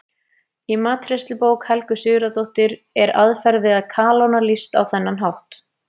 Í matreiðslubók Helgu Sigurðardóttur er aðferð við að kalóna lýst á þennan hátt: